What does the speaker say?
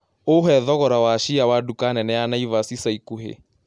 uhe thogora wa chia wa duka nene ya naivas ĩca ĩkũhĩ